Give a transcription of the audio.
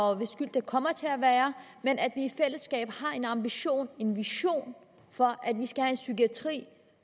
og hvis skyld det kommer til at være men at vi i fællesskab har en ambition en vision for at vi skal have en psykiatri